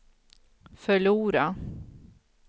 förlora